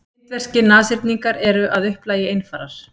Indverskir nashyrningar eru að upplagi einfarar.